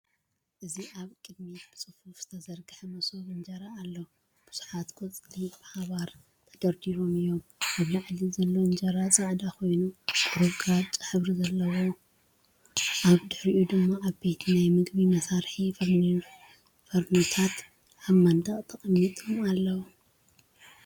እዚ ኣብ ቅድሚት ብጽፉፍ ዝተዘርግሐ መሶብ እንጀራ ኣሎ። ብዙሓት ቆጽሊ ብሓባር ተደራሪቦም እዮም፣ ኣብ ላዕሊ ዘሎ እንጀራ ጻዕዳ ኮይኑ ቁሩብ ግራጭ ሕብሪ ኣለዎ። ኣብ ድሕሪት ድማ ዓበይቲ ናይ መግቢ መስርሒ ፎርኖታትኣብ መንደቕ ተቐሚጦም ኣለዉ።